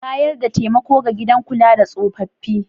Bayar da taimako ga gidan kula da tsofaffi.